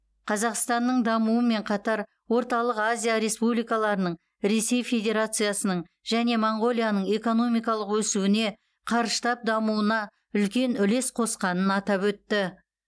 қазақстанның дамуымен қатар орталық азия республикаларының ресей федерациясының және моңғолияның экономикалық өсуіне қарыштап дамуына үлкен үлес қосқанын атап өтті